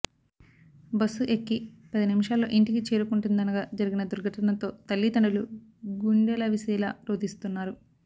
bus ఎక్కి పది నిమిషాల్లో ఇంటికి చేరుకుంటుందనగా జరిగిన దుర్ఘటనతో తల్లిదండ్రులు గుండెలవిసేలా రోదిస్తున్నారు